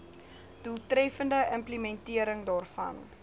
doeltreffende implementering daarvan